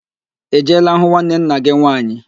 I jeela hụ nwanne nna gị nwaanyị?